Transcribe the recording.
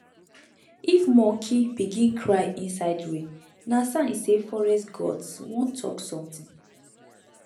if monkey begin cry inside rain na sign say forest gods wan talk something